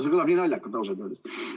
See kõlab nii naljakalt, ausalt öeldes.